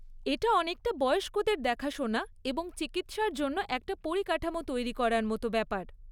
এটা অনেকটা বয়স্কদের দেখাশোনা এবং চিকিৎসার জন্য একটা পরিকাঠামো তৈরি করার মতো ব্যাপার।